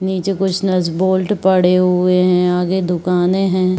नीचे कुछ nut bolt पड़े हुए हैं आगे दुकाने हैं।